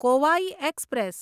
Kovai express